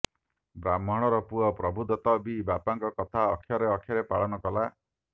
ବ୍ରାହ୍ମଣର ପୁଅ ପ୍ରଭୁଦତ୍ତ ବି ବାପାଙ୍କ କଥା ଅକ୍ଷରେ ଅକ୍ଷରେ ପାଳନ କଲା